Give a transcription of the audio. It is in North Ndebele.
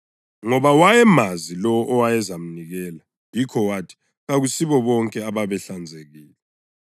Ngoba wayemazi lowo owayezamnikela, yikho wathi kakusibo bonke ababehlanzekile.